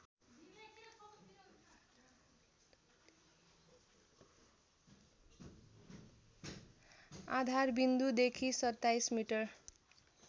आधारविन्दुदेखि २७ metre